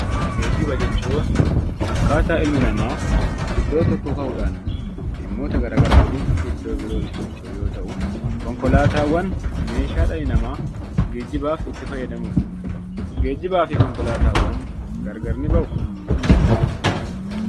Geejjiba jechuun akkaataa ilmi namaa iddoo tokkoo ka'uudhaan dhimmoota gara garaatiif iddoo birootti socho'u yoo ta'u, konkolaataawwan meeshaa dhalli namaa geejjibaaf itti fayyadamudha. Geejjibaa fi konkolaataawwan gargar ni ba'uu?